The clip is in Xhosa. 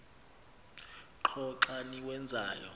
qho xa niwenzayo